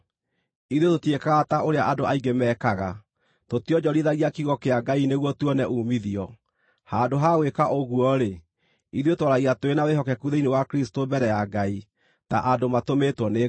Ithuĩ tũtiĩkaga ta ũrĩa andũ aingĩ mekaga; tũtionjorithagia kiugo kĩa Ngai nĩguo tuone uumithio. Handũ ha gwĩka ũguo-rĩ, ithuĩ twaragia tũrĩ na wĩhokeku thĩinĩ wa Kristũ mbere ya Ngai, ta andũ matũmĩtwo nĩ Ngai.